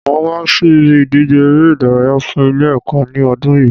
Màá wá sí ibi ìdíje eré ìdárayá fun Ilé èkó ní odún yìí